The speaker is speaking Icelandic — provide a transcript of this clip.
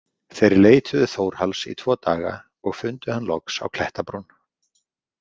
Þeir leituðu Þórhalls í tvo daga og fundu hann loks á klettabrún.